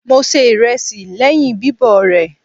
Mo se ìrẹsì lẹ́yìn bíbọ̀ rẹ̀.